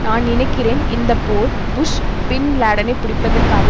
நான் நினைக்கிறேன் இந்த போர் புஷ் பின்லேடனை பிடிப்பதற்காக